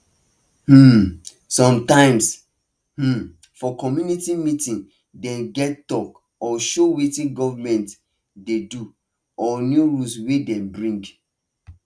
um sometimes um for community meeting dem get talk or show wetin government dey do or new rules wey dem bring